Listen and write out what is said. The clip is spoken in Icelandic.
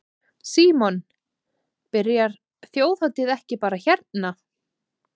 Símon: Byrjar Þjóðhátíð ekki bara hérna?